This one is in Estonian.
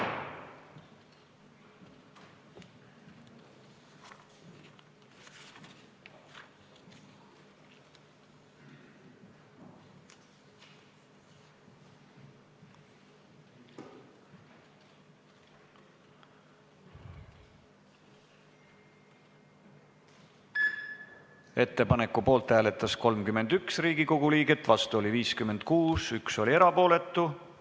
Hääletustulemused Ettepaneku poolt hääletas 31 Riigikogu liiget, vastu oli 56 liiget, 1 jäi erapooletuks.